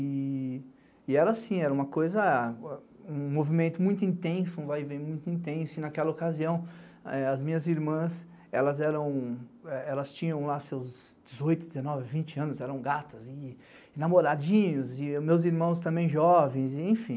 E era assim, era uma coisa, um movimento muito intenso, um vai e vem muito intenso, e naquela ocasião as minhas irmãs, elas eram, elas tinham lá seus dezoito, dezenove, vinte anos, eram gatas, e namoradinhos, e meus irmãos também jovens, enfim.